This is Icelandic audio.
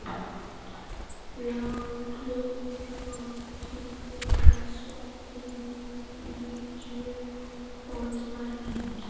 Bláklukka, slökktu á þessu eftir níutíu og tvær mínútur.